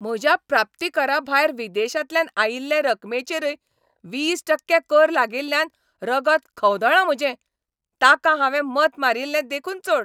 म्हज्या प्राप्तीकराभायर विदेशांतल्यान आयिल्ले रकमेचेरय वीस टक्के कर लागिल्ल्यान रगत खवदळ्ळां म्हजें, तांकां हांवें मत मारील्लें देखून चड.